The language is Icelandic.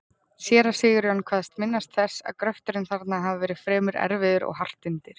Séra Sigurjón kvaðst minnast þess, að gröfturinn þarna hafi verið fremur erfiður og hart undir.